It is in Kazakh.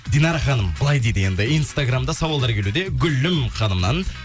динара ханым былай дейді енді инстаграмда сауалдар келуде гүлім ханымнан